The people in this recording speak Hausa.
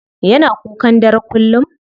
Yana kukan dare kullum?